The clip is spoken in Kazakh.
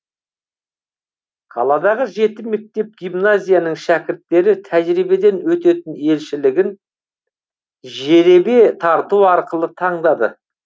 қаладағы жеті мектеп гимназияның шәкірттері тәжірибеден өтетін елшілігін жеребе тарту арқылы таңдады